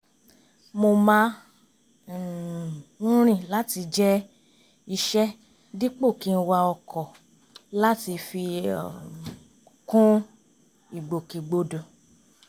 mo má um ń rìn láti jẹ́ iṣẹ́ dípò kí n wa ọkọ̀ láti kàn fi kún ìgbòkegbodò